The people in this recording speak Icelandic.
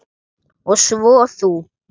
Og svo þú.